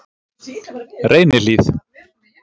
Reynihlíð